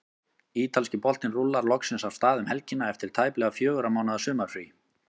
Ítalski boltinn rúllar loksins af stað um helgina eftir tæplega fjögurra mánaða sumarfrí.